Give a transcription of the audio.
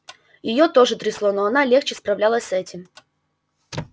её тоже трясло но она легче справлялась с этим